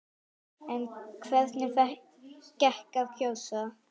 En hvernig gekk að kjósa?